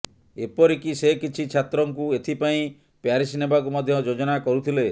ଏପରିକି ସେ କିଛି ଛାତ୍ରଙ୍କୁ ଏଥିାପାଇଁ ପ୍ୟାରିସ ନେବାକୁ ମଧ୍ୟ ଯୋଜନା କରୁଥିଲେ